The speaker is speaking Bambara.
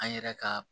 An yɛrɛ ka